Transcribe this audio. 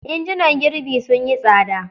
Injunan girbi sun yi tsada.